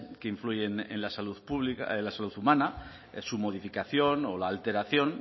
que influyen en la salud pública en la salud humana su modificación o la alteración